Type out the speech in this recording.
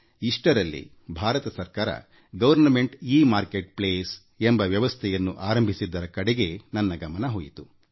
ಈ ಮಧ್ಯೆ ಭಾರತ ಸರ್ಕಾರ ಇ ಮಾರುಕಟ್ಟೆ ಸ್ಥಳಎಂಬ ವ್ಯವಸ್ಥೆಯನ್ನು ಆರಂಭಿಸಿರುವದರ ಬಗ್ಗೆ ಅವರ ಗಮನ ಹೋಯಿತು